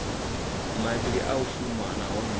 mavhili a u shuma nahone